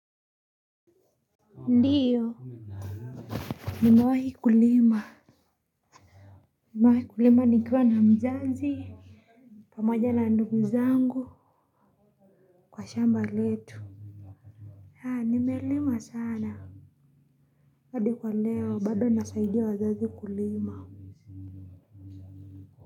Ndiyo nimewahi kulima. Nimewahi kulima nikiwa na mzazi pamoja na ndugu zangu kwa shamba letu. Nimelima sana hadi kwa leo bado nasaidia wazazi kulima.